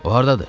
O hardadır?